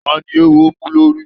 Ta ni eéwo mú lórí?